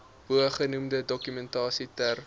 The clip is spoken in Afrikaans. bogenoemde dokumentasie ter